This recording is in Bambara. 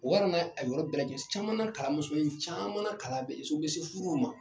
O yɛrɛ n'a a yɔrɔ bɛɛ lajɛlen caman na kalan musomanin caman na kala bɛ ye o bɛ se furuw ma.